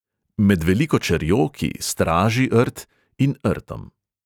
Med veliko čerjo, ki 'straži' rt, in rtom.